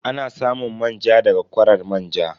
Ana samun manja ne da ga kwarar manja.